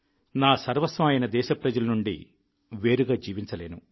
నా సర్వస్వం అయిన దేశప్రజల నుండి వేరుగా జీవించలేను